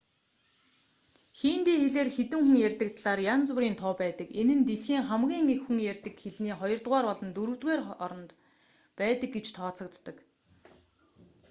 хинди хэлээр хэдэн хүн ярьдаг талаар янз бүрийн тоо байдаг энэ нь дэлхийн хамгийн их хүн ярьдаг хэлний хоёрдугаар болон дөрөвдүгээр хооронд байдаг гэж тооцогддог